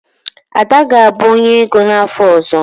Ada ga-abụ onye ego n'afọ ọzọ.